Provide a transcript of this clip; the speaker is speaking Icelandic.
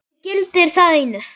Mig gildir það einu.